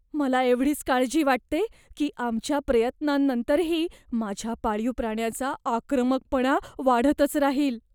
मला एवढीच काळजी वाटते की आमच्या प्रयत्नांनंतरही माझ्या पाळीव प्राण्याचा आक्रमकपणा वाढतच राहील.